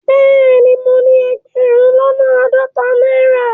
Bẹẹni, mọ ni ẹgbérùn lọ́nà aádọ́tà naira.